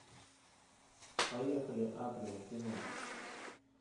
поехали атриум кино